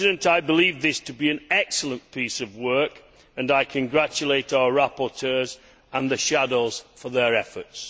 I believe this to be an excellent piece of work and I congratulate our rapporteurs and the shadows for their efforts.